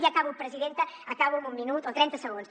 i acabo presidenta acabo amb un minut o trenta segons